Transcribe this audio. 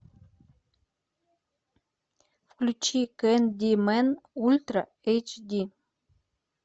включи кэндимэн ультра эйч ди